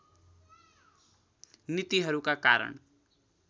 नीतिहरूका कारण